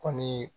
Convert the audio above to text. Kɔni